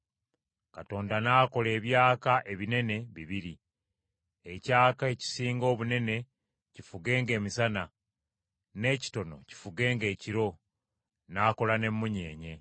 Katonda n’akola ebyaka ebinene bibiri, ekyaka ekisinga obunene kifugenga emisana, n’ekitono kifugenga ekiro, n’akola n’emmunyeenye.